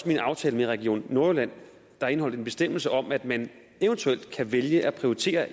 min aftale med region nordjylland indeholdt en bestemmelse om at man eventuelt kan vælge at prioritere